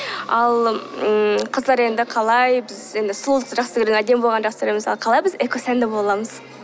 ал ммм қыздар енді қалай біз енді сұлулықты жаксы көргенді әдемі болғанды жақсы көреміз ал қалай біз экосәнді бола аламыз